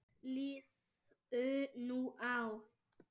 Liðu nú ár.